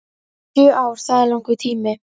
Sjö ár það er langur tími